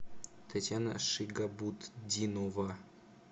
татьяна шигабутдинова